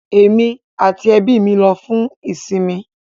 Emi ati ẹbi mi lọ fun isinmi